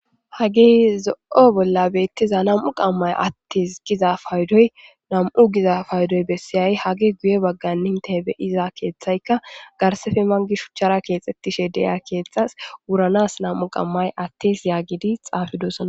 hage zo'o bolla beettiza nam'u qammay attes giza fayidoy nam'u giza fayodoy bessiyay hagey guye baggani inte be'iza keeththaykka garsefe mangi shuchchara keexxettishe de'iya keeththas wuranas nam'u qammay attis yaagidi xaafidosna